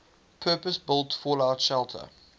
purpose built fallout shelter